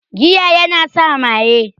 Giya yana sa maye